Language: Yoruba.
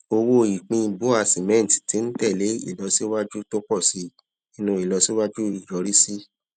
owó ìpín bua cement ti ń tẹ lé ìlọsíwájú tó pọ sí i nínú ìlọsíwájú ìyọrísí